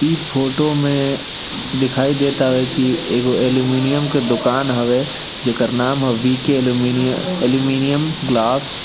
ई फोटो में दिखाई देत हवे की एगो एल्युमीनियम के दुकान हवे जेकर नाम हवे वि के एलुमिनिय एल्युमीनियम ग्लास ।